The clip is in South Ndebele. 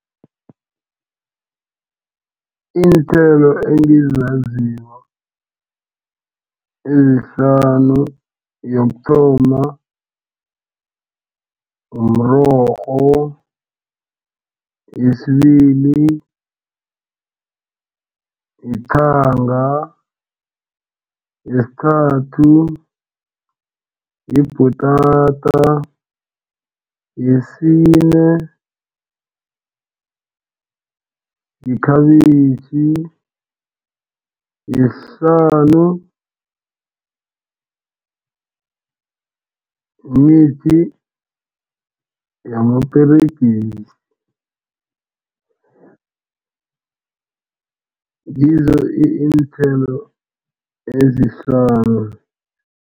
Iinthelo engizaziko ezihlanu yokuthoma mrorho, yesibili lithanga, yesithathu libhutata, yesine yikhabitjhi, yesihlanu mimithi yamaperegisi. Ngizo iinthelo ezihlanu.